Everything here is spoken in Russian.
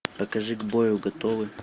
покажи к бою готовы